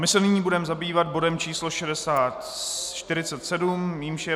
My se nyní budeme zabývat bodem číslo 47, jímž je